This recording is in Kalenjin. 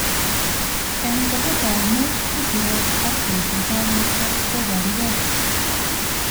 Engkoto taunet ko siret ak boishet ab borto koborukei.